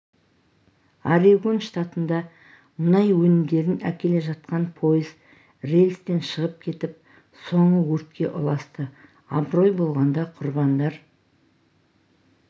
орегон штатында мұнай өнімдерін әкеле жатқан пойыз рельстен шығып кетіп соңы өртке ұласты абырой болғанда құрбандар